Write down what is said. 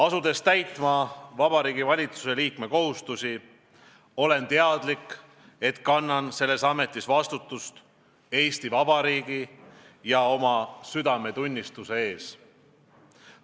Asudes täitma Vabariigi Valitsuse liikme kohustusi, olen teadlik, et kannan selles ametis vastutust Eesti Vabariigi ja oma südametunnistuse ees.